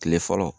Kile fɔlɔ